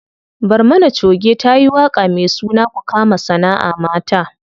Barmana choge tayi waƙa me suna ku kama sanaʼa mata.